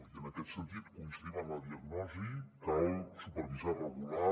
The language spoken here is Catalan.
i en aquest sentit coincidim amb la diagnosi cal supervisar regular